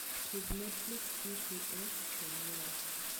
tug netflix e p.s. four mara